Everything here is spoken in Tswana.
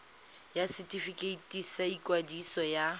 ya setefikeiti sa ikwadiso ya